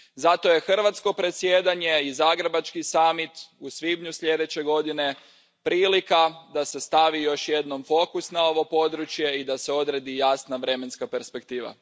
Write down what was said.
Zato je hrvatsko predsjedanje i zagrebački samit u svibnju sljedeće godine prilika da se stavi još jednom fokus na ovo područje i da se odredi jasna vremenska perspektiva.